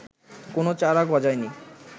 কোনো চারা গজায়নি